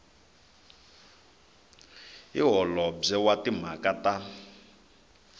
hi holobye wa timhaka ta